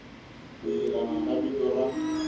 ku yelana ka vito ra